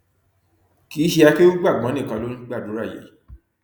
kì í ṣe akéúgbàgbón nìkan ló ń gbàdúrà yìí